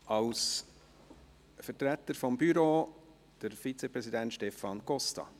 Als Vertreter des Büros spricht der Vizepräsident Stefan Costa.